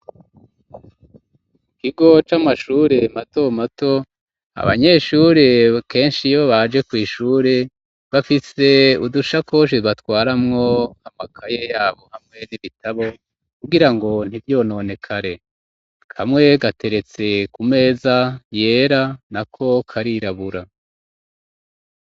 Ikigo c'amashuri mato mato abanyeshuri keshi iyo baje kw'ishuri bafise udushakoshi batwaramwo amakaye yabo hamwe n'ibitabo kugira ngo ntivyononekare kamwe gateretse kumeza yera nako karirabura.